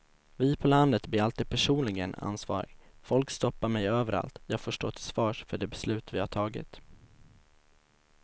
Vi på landet blir alltid personligen ansvariga, folk stoppar mig överallt och jag får stå till svars för de beslut vi har tagit.